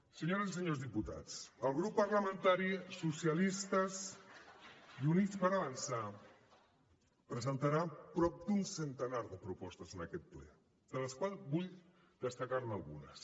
senyores i senyors diputats el grup parlamentari socialistes i units per avançar presentarà prop d’un centenar de propostes en aquest ple de les quals vull destacar ne algunes